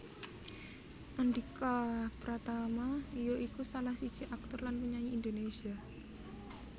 Andhika Pratama ya iku salah siji aktor lan penyanyi Indonésia